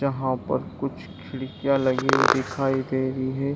जहां पर कुछ खिड़कियां लगी हुई दिखाई दे रही हैं।